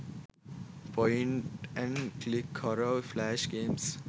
point and click horror flash games